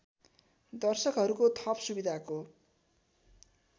दर्शकहरूको थप सुविधाको